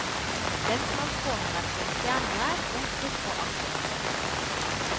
Lensmannsgården har vært både fjern og nær, omstridt og aktet.